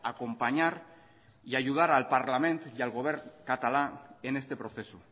acompañar y ayudar al parlament y al govern catalán en este proceso